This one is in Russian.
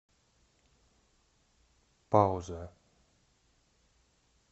пауза